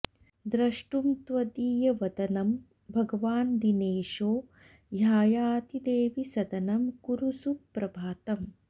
द्रष्टुं त्वदीय वदनं भगवान् दिनेशो ह्यायाति देवि सदनं कुरु सुप्रभातम्